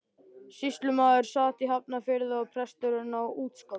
Sýslumaðurinn sat í Hafnarfirði og presturinn á Útskálum.